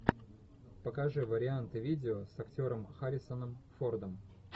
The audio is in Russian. покажи варианты видео с актером харрисоном фордом